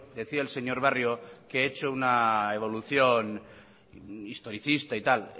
decía el señor barrio que he hecho una evolución historicista y tal